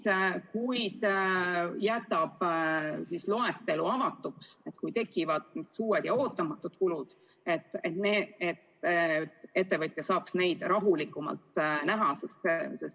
Samas jätame loetelu avatuks, et kui tekivad uued ja ootamatud kulud, siis ettevõtja saaks neid rahulikumalt teha.